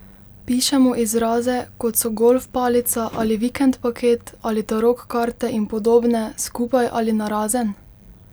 Pišemo izraze, kot so golf palica ali vikend paket ali tarok karte in podobne, skupaj ali narazen?